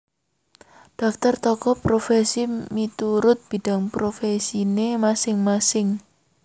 Daftar Tokoh Profesi miturut bidang profesine masing masing